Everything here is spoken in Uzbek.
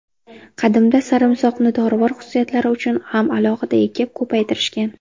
Qadimda sarimsoqni dorivor xususiyatlari uchun ham alohida ekib, ko‘paytirishgan.